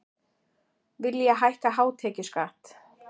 Vilja hækka hátekjuskatt